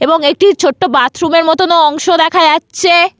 এবং একটি ছোট্ট বাথরুম -এর মতনও অংশ দেখা যাচ্ছে।